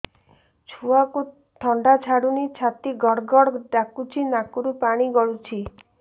ଛୁଆକୁ ଥଣ୍ଡା ଛାଡୁନି ଛାତି ଗଡ୍ ଗଡ୍ ଡାକୁଚି ନାକରୁ ପାଣି ଗଳୁଚି